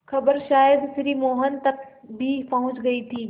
खबर शायद श्री मोहन तक भी पहुँच गई थी